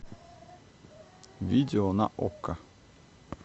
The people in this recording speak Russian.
видео на окко